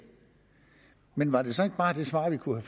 men var det så ikke bare det svar vi kunne